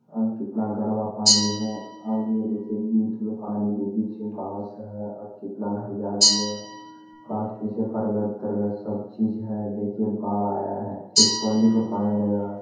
कितना कड़वा पानी है देखिए और ये देखिये बीच में पानी के बीच में बास है कितना हरियाली है बरगद-तरगद सब चीज है देखिए बार आया है सिर्फ पानिये पानी नजर आ रहा है।